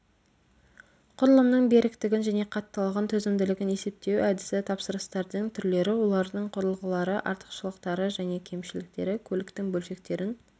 құрылымның беріктігін және қаттылығын төзімділігін есептеу әдісі тапсырыстардың түрлері олардың құрылғылары артықшылықтары және кемшіліктері көліктің бөлшектерін